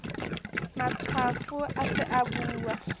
matshwafo a se a uba